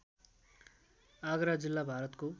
आगरा जिल्ला भारतको